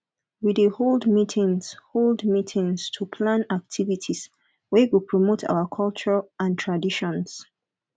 we dey hold meetings hold meetings to plan activities wey go promote our culture and traditions